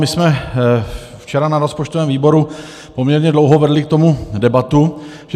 My jsme včera na rozpočtovém výboru poměrně dlouho vedli k tomu debatu.